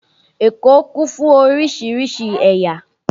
Èkó kún fún oríṣiríṣi ẹ̀yà